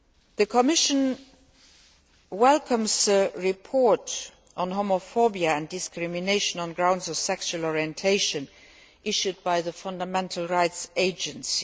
The Commission welcomes the report on homophobia and discrimination on grounds of sexual orientation issued by the Fundamental Rights Agency.